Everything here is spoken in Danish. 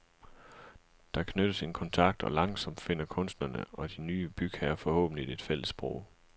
Der knyttes en kontakt og langsomt finder kunstnerne og de ny bygherrer forhåbentligt et fælles sprog.